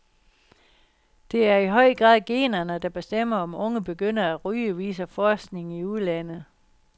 Det er i høj grad generne, der bestemmer om unge begynder at ryge, viser forskning i udlandet.